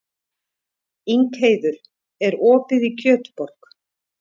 Ingheiður, er opið í Kjötborg?